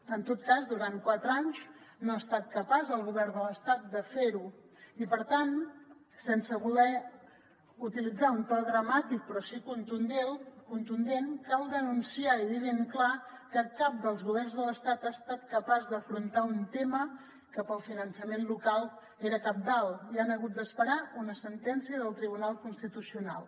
en tot cas durant quatre anys no ha estat capaç el govern de l’estat de fer ho i per tant sense voler utilitzar un to dramàtic però sí contundent cal denunciar i dir ben clar que cap dels governs de l’estat ha estat capaç d’afrontar un tema que pel finançament local era cabdal i han hagut d’esperar una sentència del tribunal constitucional